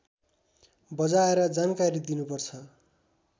बजाएर जानकारी दिनुपर्छ